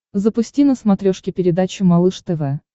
запусти на смотрешке передачу малыш тв